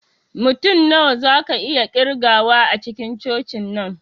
Mutum nawa zaka iya ƙirgawa a cikin cocin nan?